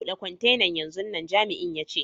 Bude kwantenan yanzun nan, Jami'in ya ce.